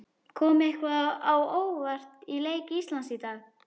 Kom eitthvað á óvart í leik Íslands í dag?